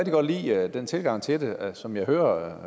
godt lide den tilgang til det at som jeg hører